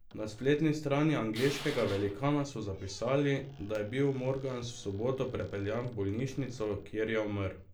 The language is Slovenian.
Na spletni strani angleškega velikana so zapisali, da je bil Morgans v soboto prepeljan v bolnišnico, kjer je umrl.